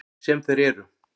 Sem þeir eru.